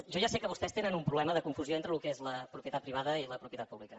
jo ja sé que vostès tenen un problema de confusió entre el que és la propietat privada i la propietat pública